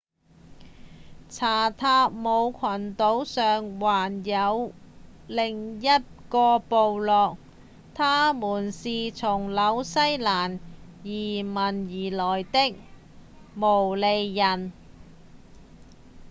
查塔姆群島上還有另一個部落他們是從紐西蘭移民而來的毛利人